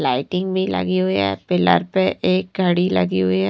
Lighting भी लगी हुई है पिलर पे एक घड़ी लगी हुई है।